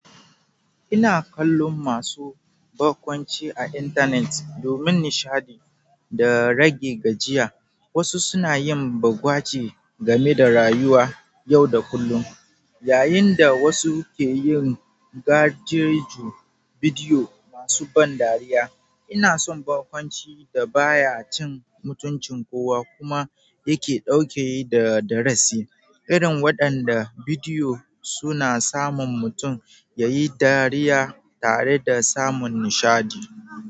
Ina kallon masu barkwanci a intanet domin nishaɗi da rage gajiya. Wasu suna yin bagwaje game da rayuwa yau da kullun, yayin da wasu ke yin gareji bidiyo masu ban dariya. Ina son barkwanci da baya cin mutuncin kowa kuma yake ɗauke da darasi, irin waɗanda bidiyo suna samun mutum yayi dariya tare da samun nishaɗi.